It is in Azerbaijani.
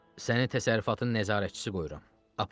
Səni təsərrüfatın nəzarətçisi qoyuram.